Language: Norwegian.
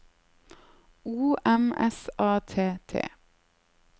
O M S A T T